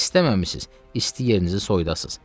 İstəməmisiniz isti yerinizi soyudasız.